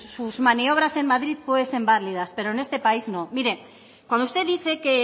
sus maniobras en madrid pueden ser válidas pero en este país no mire cuando usted dice que